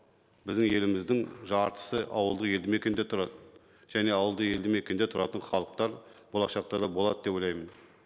біздің еліміздің жартысы ауылдық елді мекенде тұрады және ауылды елді мекенде тұратын халықтар болашақта да болады деп ойлаймын